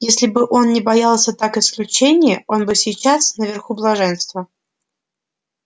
если бы он не боялся так исключения он бы сейчас наверху блаженства